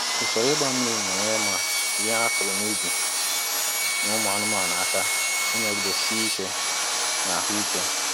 Ụsoro ịgba mmiri na-enyere ma ihe a kuru n'ubi na ụmụ anụmanụ aka ịnọgide si ike na ahụ ike.